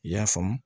I y'a faamu